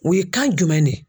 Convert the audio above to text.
O ye kan jumɛn de ye?